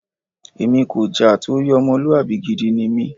Èmi kò jà torí ọmọlúwàbí gidi ni mí.